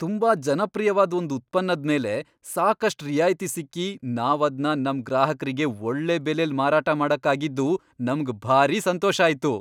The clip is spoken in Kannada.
ತುಂಬಾ ಜನಪ್ರಿಯ್ವಾದ್ ಒಂದ್ ಉತ್ಪನ್ನದ್ ಮೇಲೆ ಸಾಕಷ್ಟ್ ರಿಯಾಯ್ತಿ ಸಿಕ್ಕಿ ನಾವದ್ನ ನಮ್ ಗ್ರಾಹಕ್ರಿಗೆ ಒಳ್ಳೆ ಬೆಲೆಲ್ ಮಾರಾಟ ಮಾಡಕ್ಕಾಗಿದ್ದು ನಮ್ಗ್ ಭಾರಿ ಸಂತೋಷ ಆಯ್ತು.